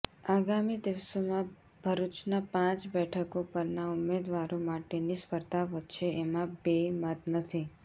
આગામી દિવસોમાં ભરૃચના પાંચ બેઠકો પરના ઉમેદવારો માટેની સ્પર્ધા વધશે એમાં બે મત નથી